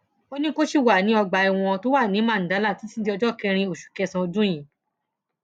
ó ní kó ṣì wà ní ọgbà ẹwọn tó wà ní mandala títí di ọjọ kẹrin oṣù kẹsànán ọdún yìí